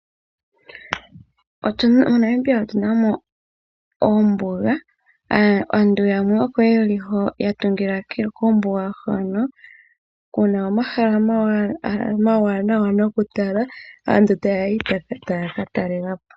MoNamibia otu na oombuga. Aantu yamwe oko ye li hoka ya tungila kombuga hoka ku na omahala omawanawa nokutala, aantu taya yi taya ka talela po.